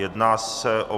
Jedná se o